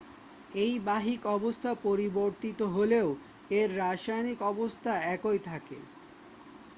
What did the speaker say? এর বাহ্যিক অবস্থা পরিবর্তিত হলেও এর রাসায়নিক অবস্থা একই থাকে